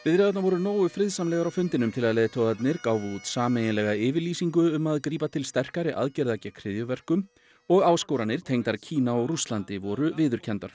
viðræðurnar voru nógu friðsamlegar til að leiðtogarnir gáfu út sameiginlega yfirlýsingu um að grípa til sterkari aðgerða gegn hryðjuverkum og áskoranir tengdar Kína og Rússlandi voru viðurkenndar